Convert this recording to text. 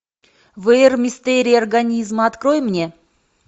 в р мистерии организма открой мне